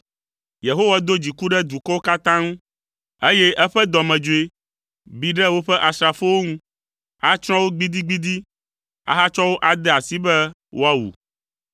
Yehowa do dziku ɖe dukɔwo katã ŋu, eye eƒe dɔmedzoe bi ɖe woƒe asrafowo ŋu. Atsrɔ̃ wo gbidigbidi ahatsɔ wo ade asi be woawu.